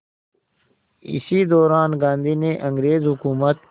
इसी दौरान गांधी ने अंग्रेज़ हुकूमत